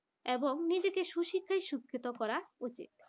এবং নিজেকে সুশিক্ষায় শিক্ষিত করা উচিত